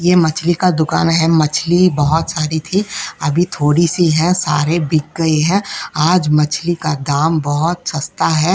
ये मछली का दुकान है। मछली बहोत सारी थी अभी थोड़ी सी है। सारे बिक गई है। आज मछली का दाम बोहोत सस्ता है।